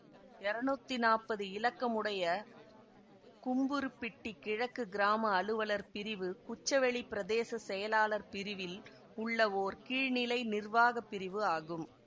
இரநூத்தி நாப்பது இலக்கம் உடைய கும்புறுப்பிட்டி கிழக்கு கிராம அலுவலர் பிரிவு குச்சவெளி பிரதேச செயலாளர் பிரிவில் உள்ள ஓர் கீழ்நிலை நிர்வாக பிரிவு ஆகும்